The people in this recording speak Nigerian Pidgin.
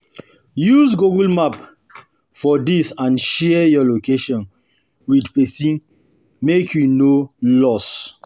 Use google map for there and share your location with persin make you no lost